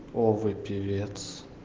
о вы певец